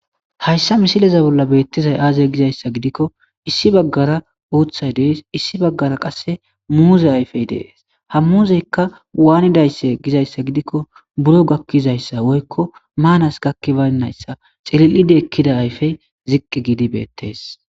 Hayssa misileza bolla beettizay aazey gizayssa gidikko issi baggara uuthay dees issi baggara qasse muuze ayfey dees ha muuzeykka waanidayssa gizayssa gidikko buro gakkizayssa woykko maanas gakkibaynnayssa xilil7ide ekkida ayfey ziqqi giidi beettees.